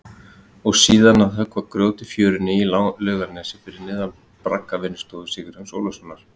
Og síðan að höggva grjót í fjörunni í Laugarnesi fyrir neðan braggavinnustofu Sigurjóns Ólafssonar.